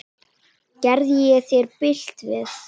Gerði ég þér bylt við?